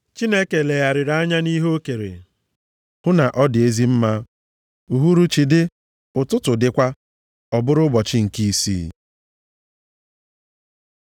Chineke legharịrị anya nʼihe o kere, hụ na ọ dị ezi mma. Uhuruchi dị, ụtụtụ dịkwa. Ọ bụrụ ụbọchị nke isii.